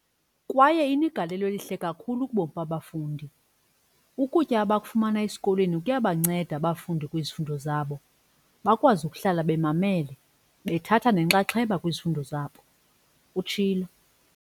kwaye inegalelo elihle kakhulu kubomi babafundi. Ukutya abakufumana esikolweni kuyabanceda abafundi kwizifundo zabo, bakwazi ukuhlala bemamele bethatha nenxaxheba kwizifundo zabo," utshilo.